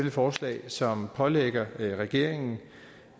et forslag som pålægger regeringen